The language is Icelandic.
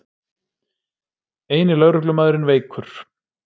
Eini lögreglumaðurinn veikur